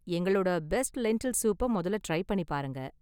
எங்களோட best lentil சூப்ப மொதல்ல ட்ரை பண்ணி பாருங்க